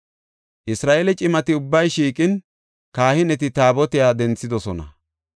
Isra7eele cimati ubbay shiiqin, kahineti Taabotiya denthidosona.